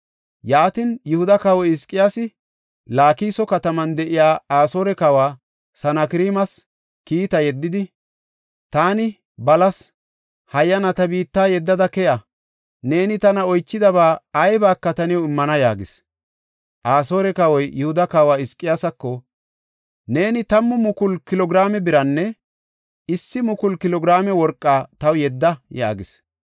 Yaatin, Yihuda kawoy Hizqiyaasi Laakiso kataman de7iya Asoore kawa Sanakreemas kiitaa yeddidi, “Taani balas; hayyana ta biitta yeddada keya. Neeni tana oychidaba aybaka ta new immana” yaagis. Asoore kawoy, Yihuda kawa Hizqiyaasako, “Neeni 10,000 kilo giraame biranne 1,000 kilo giraame worqa taw yedda” yaagis.